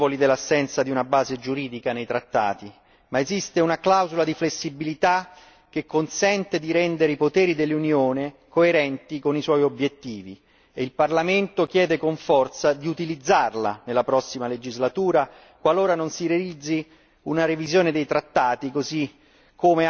Siamo consapevoli dell'assenza di una base giuridica nei trattati, ma esiste una clausola di flessibilità che consente di rendere i poteri dell'Unione coerenti con i suoi obiettivi e il Parlamento chiede con forza di utilizzarla nella prossima legislatura qualora non si realizzi una revisione dei trattati.